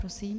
Prosím.